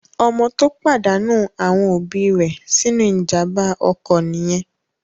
Ọmọ tó pàdánù àwọn òbí rẹ̀ sínú ìjàmbá ọkọ̀ nìyẹn.